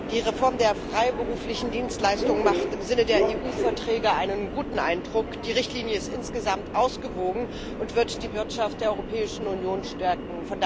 Die Reform der freiberuflichen Dienstleistungen macht im Sinne der EU Verträge einen guten Eindruck. Die Richtlinie ist insgesamt ausgewogen und wird die Wirtschaft der Europäischen Union stärken.